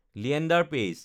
Linder পাইছ